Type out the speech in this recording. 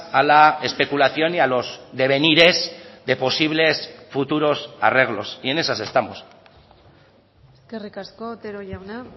a la especulación y a los devenires de posibles futuros arreglos y en esas estamos eskerrik asko otero jauna